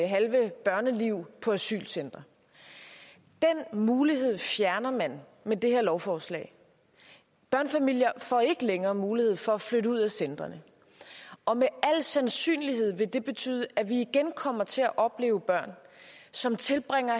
halve børneliv på et asylcenter den mulighed fjerner man med det her lovforslag børnefamilier får ikke længere mulighed for at flytte ud af centrene og med al sandsynlighed vil det betyde at vi igen kommer til at opleve børn som tilbringer